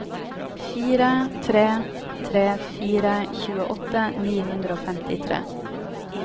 fire tre tre fire tjueåtte ni hundre og femtitre